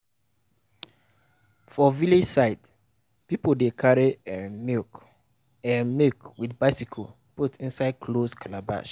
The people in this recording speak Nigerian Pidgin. for village side people dey carry um milk um milk with bicycle put inside closed calabash.